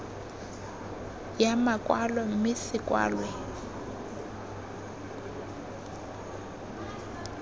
ya makwalo mme se kwalwe